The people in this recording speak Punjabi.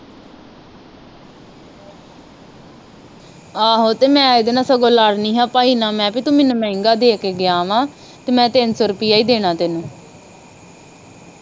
ਆਹ ਤੇ ਮੈਂ ਇਹਦੇ ਨਾਲ ਸਗੋਂ ਲੜ ਦੀ ਆ ਪਾਈ ਏਨਾ ਵੀ ਮੇਹਾ ਤੂੰ ਮੈਨੂੰ ਮਹਿੰਗਾ ਦੇਕੇ ਗਿਆ ਵਾ ਤੇ ਮੈ ਤਿੰਨ ਸੋ ਰੁਪਇਆਂ ਹੀ ਦੇਣਾ ਤੈਨੂੰ